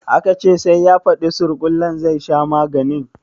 Aka ce sai ya fadi surkullen zai sha maganin?